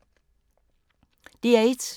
DR1